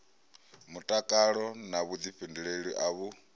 mutakalo na vhuḓifhinduleli a vhu